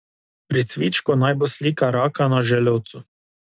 Pri cvičku naj bo slika raka na želodcu.